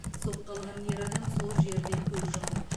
соққы алған ер адам сол жерде көз жұмды